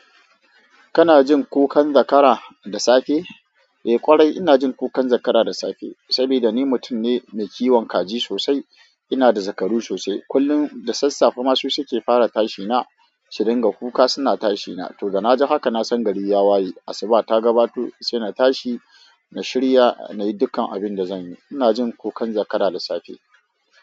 Kana jin kukan zakara da safe? Eh ƙwarai ina jin kukan zakara da safe. Saboda ni mutum ne mai kiwon kaji sosai. Ina da zakaru sosai. Kullum da sassafe ma su suke fara tashina, su ringa kuka suna tashi na. To da na ji haka na san gari ya waye. Asuba ta gabato sai na tashi, na shirya, na yi dukkan abin da zan yi. Ina jin kukan zakara da safe.